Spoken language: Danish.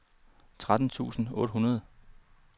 tretten tusind otte hundrede